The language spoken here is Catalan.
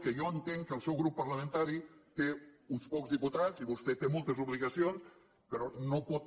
que jo entenc que el seu grup parlamentari té uns pocs diputats i vostè té moltes obligacions però no pot